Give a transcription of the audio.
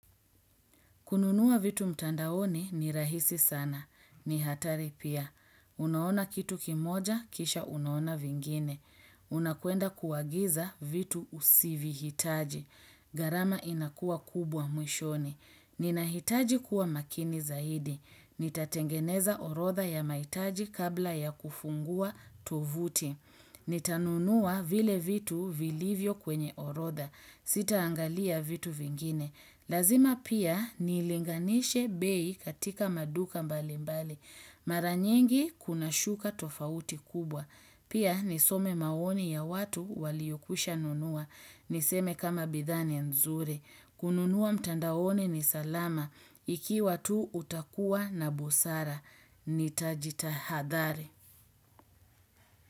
Kununua vitu mtandaoni ni rahisi sana. Ni hatari pia. Unaona kitu kimoja, kisha unaona vingine. Unakwenda kuagiza vitu usivyohitaji. Gharama inakua kubwa mwishoni. Nina hitaji kuwa makini zaidi. Nitatengeneza orodha ya mahitaji kabla ya kufungua tovuti. Nitanunua vile vitu vilivyo kwenye orodha. Sita angalia vitu vingine. Lazima pia nilinganishe bei katika maduka mbali mbali. Maranyingi kuna shuka tofauti kubwa. Pia nisome maoni ya watu waliokwisha nunua. Niseme kama bidhaa ni nzuri. Kununua mtandaoni ni salama. Iki watu utakua na busara. Nitajita hadhari.